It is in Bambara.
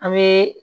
An bɛ